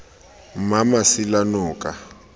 mmamasilanoka